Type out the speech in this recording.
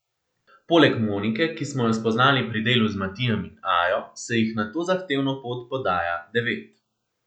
Poleg Monike, ki smo jo spoznali pri delu z Matijem in Ajo, se jih na to zahtevno pot podaja devet.